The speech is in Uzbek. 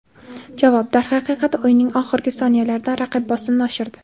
Javob: Darhaqiqat o‘yinning oxirgi soniyalarida raqib bosimni oshirdi.